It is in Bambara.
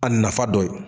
A nafa dɔ ye